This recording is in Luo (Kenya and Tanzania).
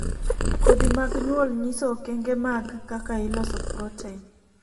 kodhi mag nyuol nyiso okenge mag kaka iloso proten